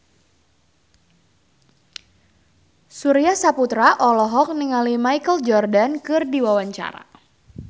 Surya Saputra olohok ningali Michael Jordan keur diwawancara